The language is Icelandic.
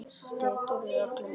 Siturðu allan daginn?